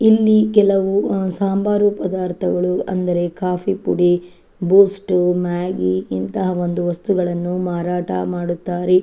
ಇಲ್ಲಿ ಕೆಲವು ಹ್ಮ್ ಸಾಂಬಾರು ಪದಾರ್ಥಗಳು ಅಂದರೆ ಕಾಫಿಪುಡಿ ಬೂಸ್ಟ್ ಮ್ಯಾಗಿ ಇಂತಹ ಒಂದು ವಸ್ತುಗಳನ್ನು ಮಾರಾಟ ಮಾಡುತ್ತಾರೆ.